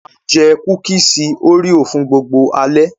A jẹ kúkísì òréò fún gbogbo alẹ́.